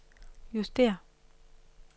justér